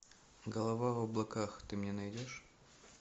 голова в облаках ты мне найдешь